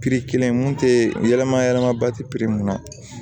kelen mun tɛ yɛlɛma yɛlɛma ba tɛ mun na